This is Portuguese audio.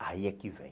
Aí é que vem.